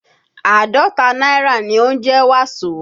Àádọ́ta náírà ni ó ń jẹ́ Waso